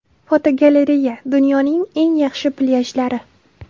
Fotogalereya: Dunyoning eng yaxshi plyajlari.